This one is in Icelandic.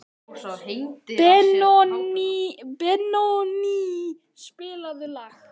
Benóný, spilaðu lag.